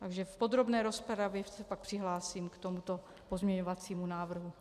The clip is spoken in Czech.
Takže v podrobné rozpravě se pak přihlásím k tomuto pozměňovacímu návrhu.